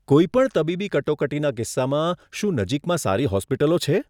કોઈ પણ તબીબી કટોકટીના કિસ્સામાં, શું નજીકમાં સારી હોસ્પિટલો છે?